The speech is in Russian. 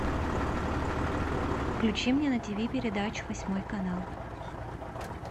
включи мне на тиви передачу восьмой канал